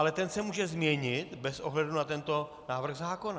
Ale ten se může změnit bez ohledu na tento návrh zákona.